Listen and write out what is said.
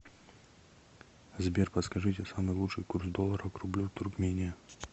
сбер подскажите самый лучший курс доллара к рублю туркмения